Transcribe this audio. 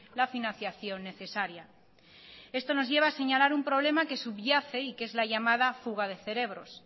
la financiación necesaria esto nos lleva a señalar un problema que subyace y que es la llamada fuga de cerebros